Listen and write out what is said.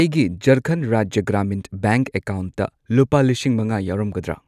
ꯑꯩꯒꯤ ꯖꯔꯈꯟ ꯔꯥꯖ꯭ꯌ ꯒ꯭ꯔꯥꯃꯤꯟ ꯕꯦꯡꯛ ꯑꯀꯥꯎꯟꯠꯇ ꯂꯨꯄꯥ ꯂꯤꯁꯤꯡ ꯃꯉꯥ ꯌꯥꯎꯔꯝꯒꯗ꯭ꯔ?